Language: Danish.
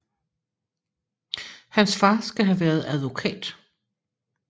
Hans far skal have været advokat